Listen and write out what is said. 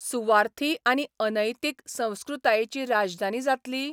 सुवार्थी आनी अनैतीक संस्कृतायेची राजधानी जातली?